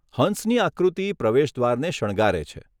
હંસની આકૃતિ પ્રવેશ દ્વારને શણગારે છે.